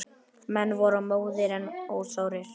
Menn voru móðir en ósárir.